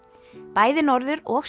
bæði norður og